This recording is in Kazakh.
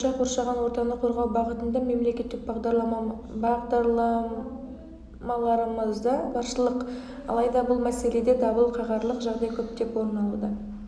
оның айтуынша қоршаған ортаны қорғау бағытында мемлекеттік бағдарламаларымыз да баршылық алайда бұл мәселеде дабыл қағарлық жағдай көптеп орын алуда